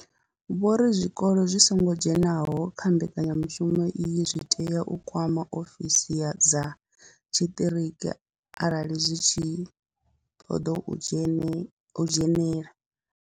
Vho ri zwikolo zwi songo dzheniswaho kha mbekanyamushumo iyi zwi tea u kwama ofisi dza tshiṱiriki arali zwi tshi khou ṱoḓa u dzhene u dzhenela.